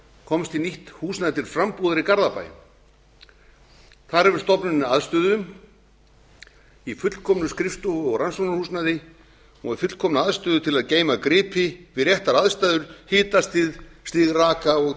komst á nýtt húsnæði til frambúðar í garðabæ þar hefur stofnunin aðstöðu í fullkomnu skrifstofu og rannsóknarhúsnæði hefur fullkomna aðstöðu til að geyma gripi við réttar aðstæður hitastig stig raka og